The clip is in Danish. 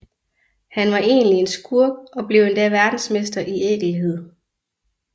Han var egentlig en skurk og blev endda verdensmester i ækelhed